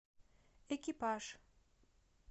экипаж